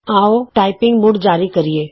ਆਉ ਟਾਈਪਿੰਗ ਮੁੜ ਜਾਰੀ ਕਰੀਏ